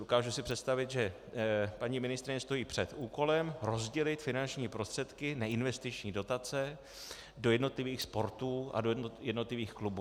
Dokážu si představit, že paní ministryně stojí před úkolem rozdělit finanční prostředky, neinvestiční dotace, do jednotlivých sportů a do jednotlivých klubů.